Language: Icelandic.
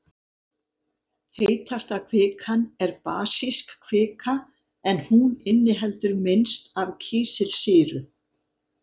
Heitasta kvikan er basísk kvika en hún inniheldur minnst af kísilsýru.